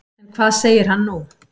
En hvað segir hann nú?